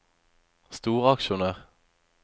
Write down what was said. storaksjonær